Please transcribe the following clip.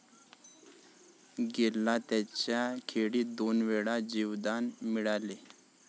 गेलला त्याच्या खेळीत दोनवेळा जीवदान मिळाले.